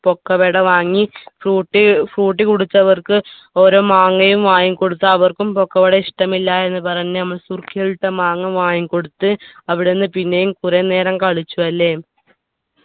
പൊക്കുവട വാങ്ങി Frooti Frooti കുടിച്ചവർക്ക് ഓരോ മാങ്ങയും വാങ്ങിക്കൊടുത്തു അവർക്കും പൊക്കുവട ഇഷ്ടമില്ല എന്ന് പറഞ്ഞ് നമ്മൾ സുർക്കയിലിട്ട മാങ്ങ വാങ്ങിക്കൊടുത്ത് അവിടുന്ന് പിന്നെയും കുറെ നേരം കളിച്ചു അല്ലെ